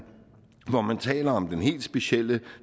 hvor man taler om den helt specielle